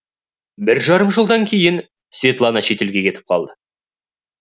бір жарым жылдан кейін светлана шетелге кетіп қалады